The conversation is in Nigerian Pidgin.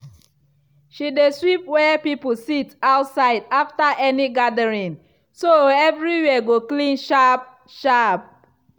she dey sweep where people sit outside after any gathering so everywhere go clean sharp-sharp.